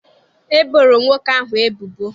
E boro nwoke ahụ ebubo.